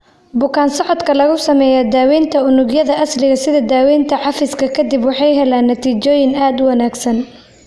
Bukaan-socodka lagu sameeyay daawaynta unugyada asliga sida daawaynta cafiska ka dib waxay heleen natiijooyin aad u wanaagsan.